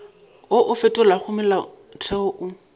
wo o fetolago molaotheo o